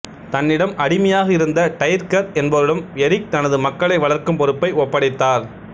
தன்னிடம் அடிமையாக இருந்த டைர்கர் என்பவரிடம் எரிக் தனது மக்களை வளர்க்கும் பொறுப்பை ஒப்படைத்தார்